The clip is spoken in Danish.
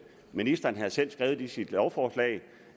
ministeren havde selv skrevet i sit lovforslag